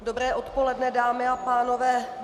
Dobré odpoledne, dámy a pánové.